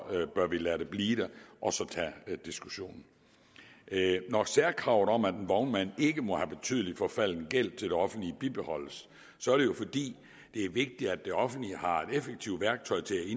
bør vi lade det blive der og tage diskussionen når særkravet om at en vognmand ikke må have betydelig forfalden gæld til det offentlige bibeholdes så er det fordi det er vigtigt at det offentlige har et effektivt værktøj til